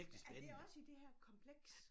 Er det også i det her kompleks?